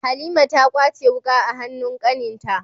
Halima ta kwace wuka a hanun kaninta